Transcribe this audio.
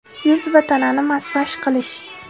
Yuz va tanani massaj qilish.